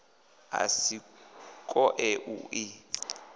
a si koe u i